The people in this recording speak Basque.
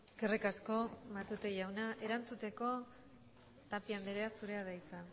eskerrik asko matute jauna erantzuteko tapia anderea zurea da hitza